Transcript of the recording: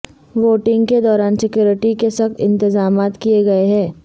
voting کےدوران security کے سخت انتطامات کیے گئے ہیں